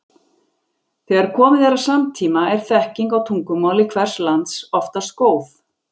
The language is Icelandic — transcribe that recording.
Þegar komið er að samtíma er þekking á tungumáli hvers lands oftast góð.